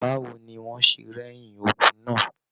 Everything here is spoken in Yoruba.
Báwo ní wọn ṣe rẹyin ogún náà?